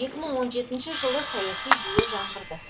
екі мың он жетінші жылы саяси жүйе жаңғырды